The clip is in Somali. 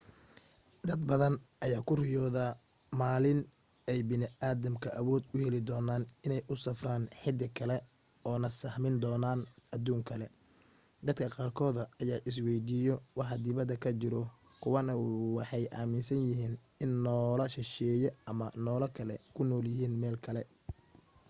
dad badan ayaa ku riyoodo maalinka ay bani'aadamka awood u heli doonaan inay u safraan xidig kale oo na sahmin doonaan aduuno kale dad qaarkooda ayaa isweydiiyo waxa dibadda ka jiro kuwa na waxay aaminsan yihiin in noolaha shisheeye ama noola kale ku nool yihiin meel kale